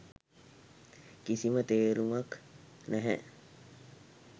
කිසිම තේරුමක් නැහැ.